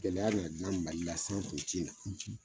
Gɛlɛya na Mali la